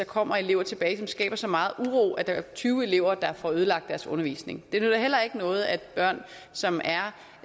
kommer elever tilbage som skaber så meget uro at der er tyve elever der får ødelagt deres undervisning det nytter heller ikke noget at børn som